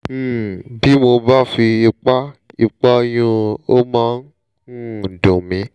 um bí mo bá fi ipá ipá yún un ó máa ń um dùn mí